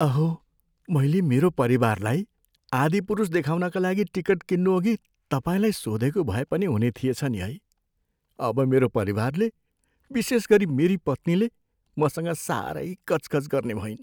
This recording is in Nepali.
अहो! मैले मेरो परिवारलाई "आदिपुरुष" देखाउनका लागि टिकट किन्नुअघि तपाईँलाई सोधेको भए पनि हुने थिएछ नि है? अब मेरो परिवारले, विशेषगरी मेरी पत्नीले, मसँग साह्रै कचकच गर्ने भइन्।